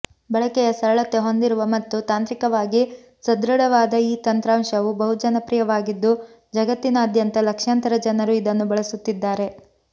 ಬಳಕೆಯ ಸರಳತೆ ಹೊಂದಿರುವ ಮತ್ತು ತಾಂತ್ರಿಕವಾಗಿ ಸದೃಢವಾದ ಈ ತಂತ್ರಾಂಶವು ಬಹುಜನಪ್ರಿಯವಾಗಿದ್ದು ಜಗತ್ತಿನಾದ್ಯಂತ ಲಕ್ಷಾಂತರ ಜನರು ಇದನ್ನು ಬಳಸುತ್ತಿದ್ದಾರೆ